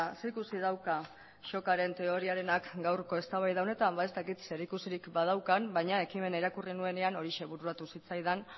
zer ikusi dauka shockaren teoriarenak gaurko eztabaida honetan ba ez dakit zerikusirik badaukan baina ekimena irakurri nuenean horixe bururatu zitzaidan